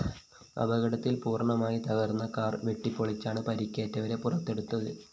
അപകടത്തില്‍ പൂര്‍ണമായി തകര്‍ന്ന കാർ വെട്ടിപ്പൊളിച്ചാണ് പരിക്കേറ്റവരെ പുറത്തെടുത്തത്